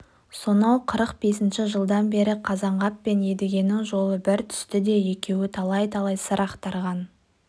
сонау қырық бесінші жылдан бері қазанғап пен едігенің жолы бір түсті де екеуі талай-талай сыр ақтарған